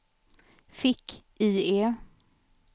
fick-IE